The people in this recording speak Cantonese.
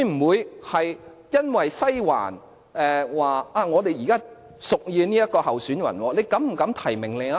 會否在西環屬意某個候選人的情況下膽敢提名另一位？